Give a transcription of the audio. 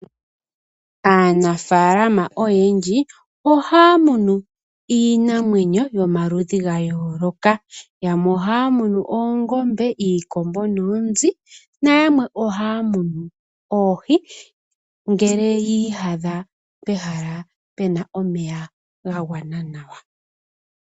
Aanafalama oyendji ohaya munu iinamwenyo yomaludhi ga yooloka yamwe ohaya munu oongombe, iikombo noonzi na yamwe ohaya munu oohi ngele yi iyadha pehala puna omeya ga gwana nawa.